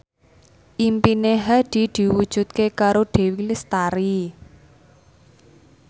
impine Hadi diwujudke karo Dewi Lestari